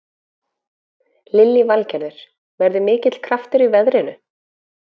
Lillý Valgerður: Verður mikill kraftur í veðrinu?